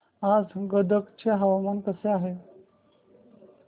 आज गदग चे हवामान कसे आहे